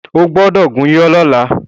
Ó gbọ́dọ̀ gúnyán lọ́la!